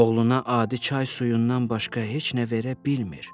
Oğluna adi çay suyundan başqa heç nə verə bilmir.